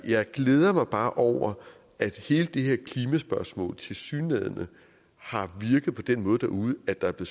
jeg glæder mig bare over at hele det her klimaspørgsmål tilsyneladende har virket på den måde derude at der er